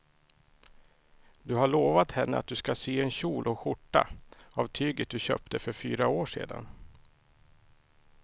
Du har lovat henne att du ska sy en kjol och skjorta av tyget du köpte för fyra år sedan.